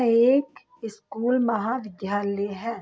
एक स्कूल महाविद्यालय है।